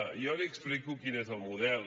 jo li explico quin és el model